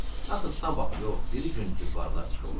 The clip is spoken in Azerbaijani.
axı sabah yox, biri gün çuvalılar çıxırlar.